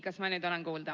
Kas ma nüüd olen kuulda?